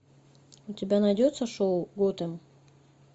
у тебя найдется шоу готэм